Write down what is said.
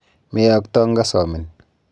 Meyokto ngasomin.